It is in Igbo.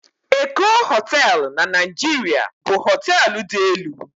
Eko Hóteélụ̀ na Naịjirịa bụ hóteélụ̀ dị elu